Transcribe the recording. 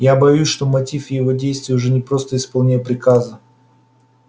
я боюсь что мотив его действий уже не просто исполнение приказа